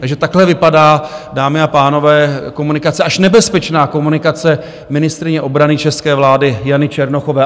Takže takhle vypadá, dámy a pánové, komunikace, až nebezpečná komunikace ministryně obrany české vlády Jany Černochové.